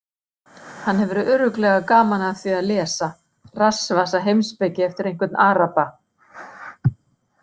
Hann hefur örugglega gaman af því að lesa rassvasaheimspeki eftir einhvern araba!